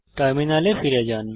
টার্মিনালে ফিরে যান